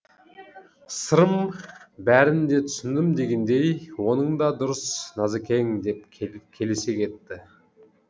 сырым бәрін де түсіндім дегендей оның да дұрыс назыкең деп келісе кетті